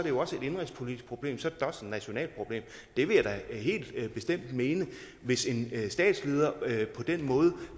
jo også et indenrigspolitisk problem så er et nationalt problem det vil jeg da helt bestemt mene hvis en statsleder